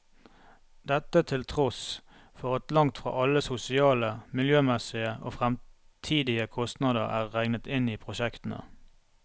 Dette til tross for at langt fra alle sosiale, miljømessige og fremtidige kostnader er regnet inn i prosjektene.